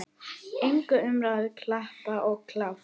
Engin umræða, klappað og klárt.